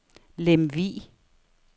Lemvig